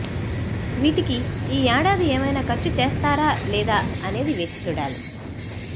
వీటికి ఈ ఏడాది ఏమైనా ఖర్చు చేస్తారా లేదా అనేది వేచి చూడాలి